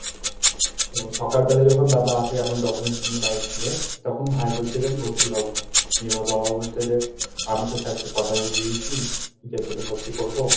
তো সকাল বেলা যখন বাবা আসে, আমার documents নিয়ে bike নিয়ে তখন ভাই বলছে যে, আমি ভর্তি হব না। এবার বাবা বলছে যে আমি তো sir কে কথা দিয়ে দিয়েছি, যে তোকে ভর্তি করব,